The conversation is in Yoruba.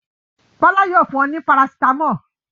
Bọ́lá yóò fun ọ ní parasítámọ̀.